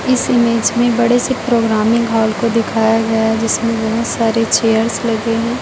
इस इमेज में बड़े से प्रोग्रामिंग हाल को दिखाया गया है जिसमें बहुत सारे चेयर्स लगे हैं।